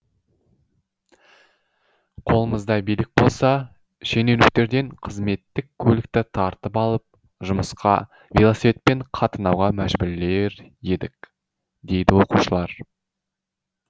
қолымызда билік болса шенеуніктерден қызметтік көлікті тартып алып жұмысқа велосипедпен қатынауға мәжбүрлер едік дейді оқушылар